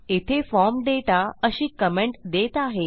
येथे फॉर्म दाता अशी कमेंट देत आहे